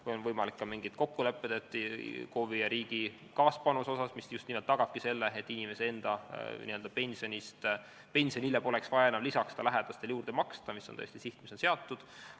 Võimalikud võivad olla ka mingid kokkulepped KOV-i ja riigi kaaspanuse asjus, mis just nimelt tagabki selle, et inimese enda n-ö pensionile poleks vaja enam lähedastel juurde maksta, mis on tõesti sihina seatud.